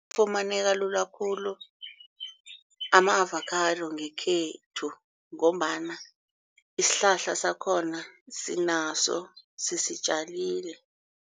Afumaneka lula khulu ama-avokhado ngekhethu ngombana isihlahla sakhona sinaso sisitjalile.